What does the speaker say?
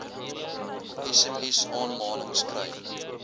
sms aanmanings kry